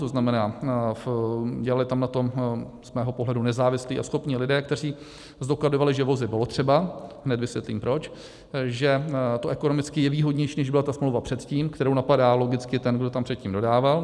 To znamená, dělali tam na tom z mého pohledu nezávislí a schopní lidé, kteří zdokladovali, že vozy bylo třeba - hned vysvětlím proč - že to ekonomicky je výhodnější, než byla ta smlouva předtím, kterou napadá logicky ten, kdo tam předtím dodával.